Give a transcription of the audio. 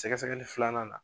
Sɛgɛsɛli filanan na